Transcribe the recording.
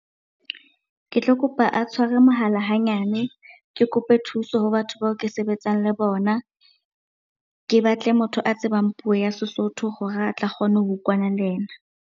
Ke tlo kopa a tshware mohala hanyane, ke kope thuso ho batho bao ke sebetsang le bona. Ke batle motho a tsebang puo ya sesotho hore a tla kgone ho utlwana le yena.